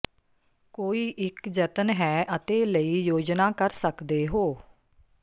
ਕੋਈ ਇੱਕ ਜਤਨ ਹੈ ਅਤੇ ਲਈ ਯੋਜਨਾ ਕਰ ਸਕਦੇ ਹੋ